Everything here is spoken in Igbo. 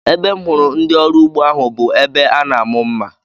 Ebe m hụrụ ndị ọrụ ugbo ahu bụ ebe a na-amụ mma